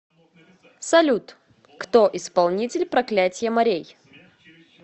салют кто исполнитель проклятье морей